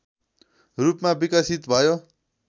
रूपमा विकसित भयो